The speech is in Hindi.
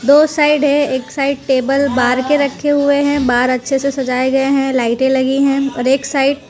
दो साइड है एक साइड टेबल बाहर के रखे हुए हैं बाहर अच्छे से सजाए गए हैं लाइटे लगी है और एक साइड --